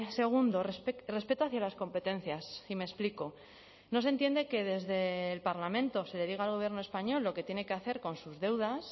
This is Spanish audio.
segundo respeto hacia las competencias y me explico no se entiende que desde el parlamento se le diga al gobierno español lo que tiene que hacer con sus deudas